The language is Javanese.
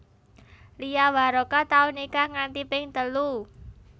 Lia Waroka tau nikah nganti ping telu